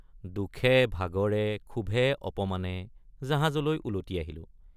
দুখেভাগৰে ক্ষোভেঅপমানে জাহাজলৈ উলটি আহিলোঁ।